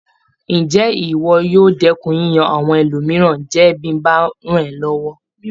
Ǹjé ìwọ yóò dẹ́kun yíyan àwọn ẹlòmíràn jẹ bí mo bá rán ọ́ lọ́wọ́?